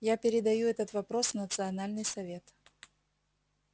я передаю этот вопрос в национальный совет